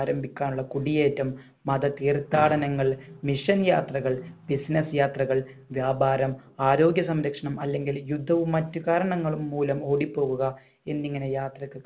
മാരമ്പിക്കാനുള്ള കുടിയേറ്റം മത തീർത്ഥാടനങ്ങൾ mission യാത്രകൾ business യാത്രകൾ വ്യാപാരം ആരോഗ്യ സംരക്ഷണം അല്ലെങ്കിൽ യുദ്ധവും മറ്റു കാരണങ്ങളും മൂലം ഓടി പോകുക എന്നിങ്ങനെ യാത്രക്ക്